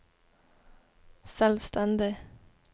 selvstendig